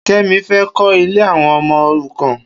Kemi fê kó̀ ilè awọn ọmọ órúkàn